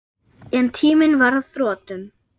En tíminn var á þrotum.